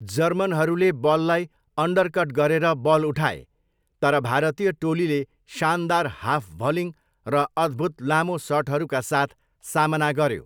जर्मनहरूले बललाई अन्डरकट गरेर बल उठाए, तर भारतीय टोलीले शानदार हाफ भलिङ्ग र अद्भुत लामो सटहरूका साथ सामना गऱ्यो।